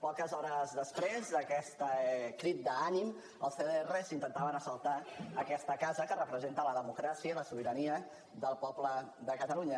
poques hores després d’aquest crit d’ànim els cdr intentaven assaltar aquesta casa que representa la democràcia i la sobirania del poble de catalunya